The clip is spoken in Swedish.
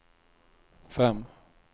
fem